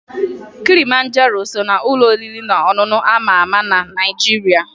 Kilimanjaro so n'ụlọ oriri na ọṅụṅụ a ma ama na Naịjiria